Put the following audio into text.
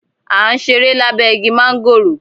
À ǹ sẹ̀rẹ̀ lábé igi màngòró.